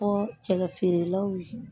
Fɔ cɛkɛ feerelaw ye